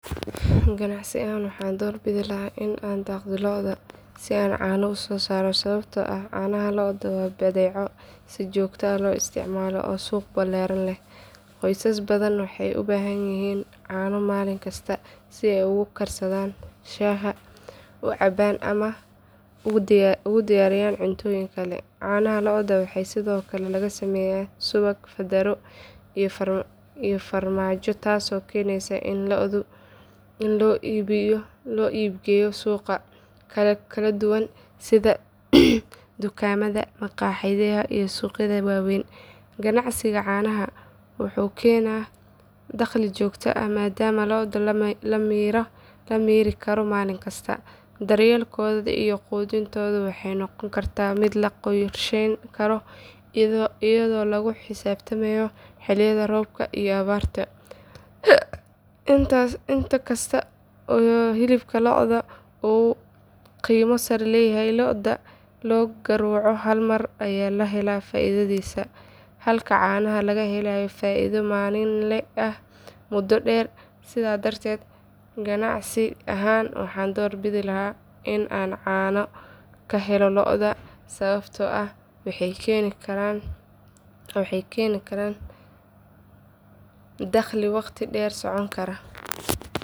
Ganacsi ahaan waxaan doorbidi lahaa in aan daaqo lo’da si aan caano u soo saaro sababtoo ah caanaha lo’da waa badeeco si joogto ah loo isticmaalo oo suuq ballaaran leh. Qoysas badan waxay u baahan yihiin caano maalin kasta si ay ugu karsadaan shaaha, u cabbaan ama ugu diyaariyaan cuntooyin kale. Caanaha lo’da waxay sidoo kale laga sameeyaa subag, fadaro, iyo farmaajo taasoo keenaysa in loo iibgeeyo suuqyo kala duwan sida dukaamada, makhaayadaha iyo suuqyada waaweyn. Ganacsiga caanaha wuxuu keenaa dakhli joogto ah maadaama lo’da la miiri karo maalin kasta. Daryeelkooda iyo quudintoodu waxay noqon kartaa mid la qorsheyn karo iyadoo lagu xisaabtamayo xilliyada roobka iyo abaarta. Inkasta oo hilibka lo’da uu qiimo sare leeyahay, lo’da la gowraco hal mar ayaa la helo faa’iidadaas halka caanaha laga helayo faa’iido maalinle ah muddo dheer. Sidaas darteed ganacsi ahaan waxaan doorbidi lahaa in aan caano ka helo lo’da sababtoo ah waxay keeni karaan dakhli waqti dheer socon kara.